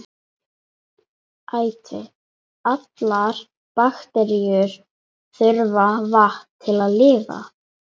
Æti: allar bakteríur þurfa vatn til að lifa.